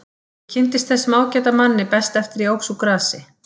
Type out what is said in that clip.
Ég kynntist þessum ágæta manni best eftir að ég óx úr grasi.